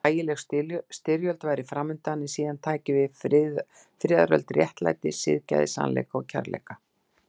Ægileg styrjöld væri framundan, en síðan tæki við friðaröld réttlætis, siðgæðis, sannleika og kærleika.